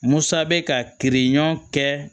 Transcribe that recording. Musa bɛ ka kiiri ɲɔn kɛ